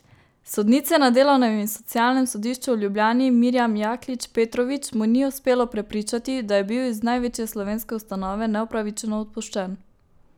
Sodnice na delovnem in socialnem sodišču v Ljubljani Mirjam Jaklič Petrovič mu ni uspelo prepričati, da je bil iz največje slovenske ustanove neupravičeno odpuščen.